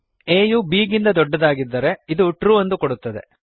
a ಯು b ಗಿಂತ ದೊಡ್ಡದಿದ್ದರೆ ಇದು ಟ್ರು ಎಂದು ಕೊಡುತ್ತದೆ